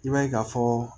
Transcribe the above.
I b'a ye ka fɔ